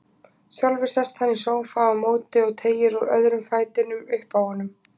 Sjálfur sest hann í sófa á móti og teygir úr öðrum fætinum uppi á honum.